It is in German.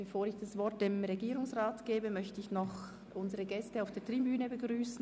Bevor ich dem Regierungspräsidenten das Wort erteile, möchte ich unsere Gäste auf der Tribüne begrüssen.